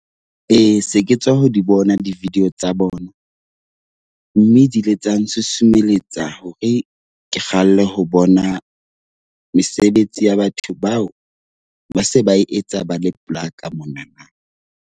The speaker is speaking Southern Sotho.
Ee, se ke tswa ho di bona di-video tsa bona. Mme di ile tsa nsusumeletsa hore ke kgalle ho bona mesebetsi ya batho bao ba se ba etsa ba le polaka monana.